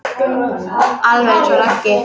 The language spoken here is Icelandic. Alveg eins og Raggi.